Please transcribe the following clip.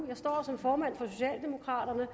jeg står her som formand for socialdemokraterne